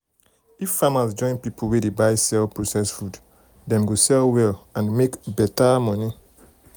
if farmers join people wey dey buy sell process food dem go sell well and make better money.